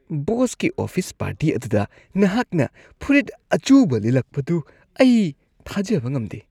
ꯕꯣꯁꯀꯤ office party ꯑꯗꯨꯗ ꯅꯍꯥꯛꯅ ꯐꯨꯔꯤꯠ ꯑꯆꯨꯕ ꯂꯤꯠꯂꯛꯄꯗꯨ ꯑꯩ ꯊꯥꯖꯕ ꯉꯝꯗꯦ ꯫